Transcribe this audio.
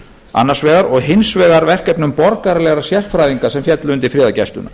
annars vegar og hins vegar verkefnum borgaralegra sérfræðinga sem féllu undir friðargæsluna